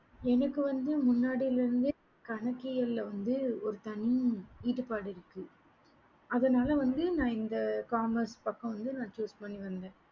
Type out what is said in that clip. எங்களுக்கு வந்து முன்னாடில இருந்தே கணக்கியல வந்து ஒரு தனி ஈடுபாடு அதுனால வந்து இந்த commerce பக்கம் வந்து நான் choose பண்ணி வந்தேன்